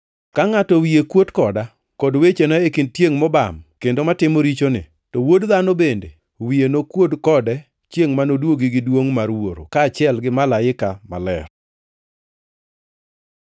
Ka ngʼato wiye kuot koda kod wechena e kind tiengʼ mobam kendo matimo richoni, to Wuod Dhano bende wiye nokuod kode chiengʼ manoduogi gi duongʼ mar Wuoro, kaachiel gi Malaike maler.”